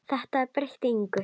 Það breytti engu.